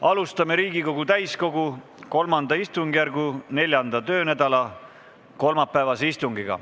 Alustame Riigikogu täiskogu III istungjärgu neljanda töönädala kolmapäevast istungit.